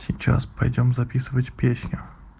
сейчас пойдём записывать песню